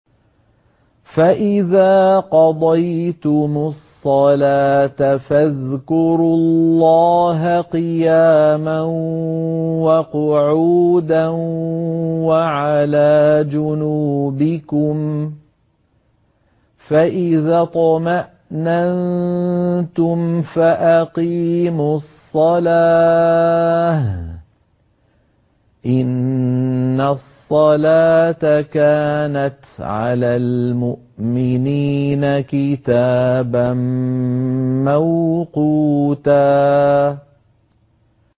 فَإِذَا قَضَيْتُمُ الصَّلَاةَ فَاذْكُرُوا اللَّهَ قِيَامًا وَقُعُودًا وَعَلَىٰ جُنُوبِكُمْ ۚ فَإِذَا اطْمَأْنَنتُمْ فَأَقِيمُوا الصَّلَاةَ ۚ إِنَّ الصَّلَاةَ كَانَتْ عَلَى الْمُؤْمِنِينَ كِتَابًا مَّوْقُوتًا